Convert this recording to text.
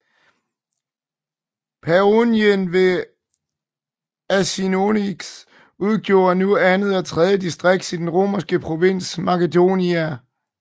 Paionien ved Axios udgjorde nu andet og tredje distrikt i den romerske provins Macedonia